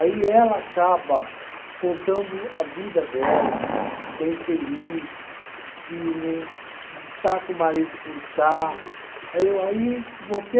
Aí ela acaba contando a vida dela, que que é infeliz, que não está com o marido por estar. Aí eu, aí você